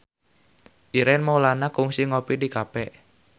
Ireng Maulana kungsi ngopi di cafe